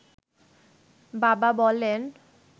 বাবা বলেন